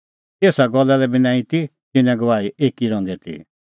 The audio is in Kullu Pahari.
एसा गल्ला लै बी नांईं ती तिन्नें गवाही एकी रंगे ती